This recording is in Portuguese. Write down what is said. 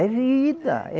É vida!